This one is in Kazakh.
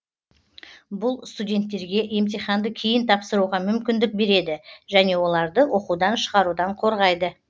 бұл студенттерге емтиханды кейін тапсыруға мүмкіндік береді және оларды оқудан шығарудан қорғайды